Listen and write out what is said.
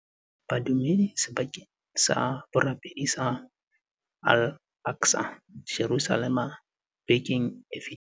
Badumedi sebakeng sa borapedi sa Al Aqsa, Jerusalema bekeng e fetileng.